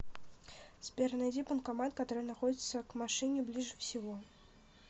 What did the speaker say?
сбер найди банкомат который находится к машине ближе всего